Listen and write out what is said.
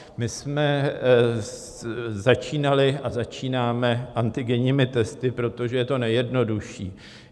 My jsme začínali a začínáme antigenními testy, protože je to nejjednodušší.